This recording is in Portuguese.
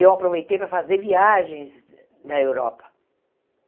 Eu aproveitei para fazer viagens na Europa.